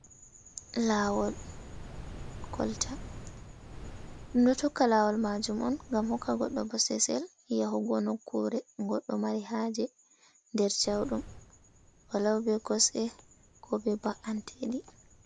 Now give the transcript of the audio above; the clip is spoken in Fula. Lawol kolta ɗum ɗo Tokka lawol majum on gam hokka goɗɗo, bo sesel yahugo nokkure goɗɗo mari haje nder jauɗum, wa Lau be kosɗe, ko be ba’anteɗi.